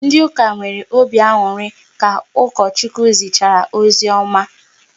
Ndị ụka nwere obi aṅụrị ka Ukochukwu zichara ozioma